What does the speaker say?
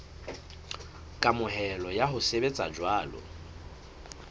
kamohelo ya ho sebetsa jwalo